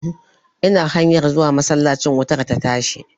Ina hanyar zuwa masallacin wutar ta tashi.